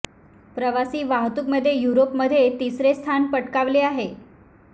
प्रवासी वाहतूक मध्ये युरोप मध्ये तिसरे स्थान पटकावले आहे